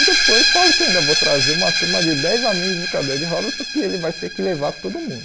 E depois falo que ainda vou trazer uma turma de dez amigos de cadeia de rodas, porque ele vai ter que levar todo mundo.